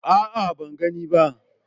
A'a, ban gani ba.